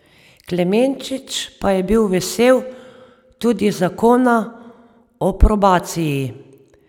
Klemenčič pa je bil vesel tudi zakona o probaciji.